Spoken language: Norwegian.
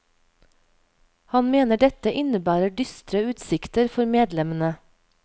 Han mener dette innebærer dystre utsikter for medlemmene.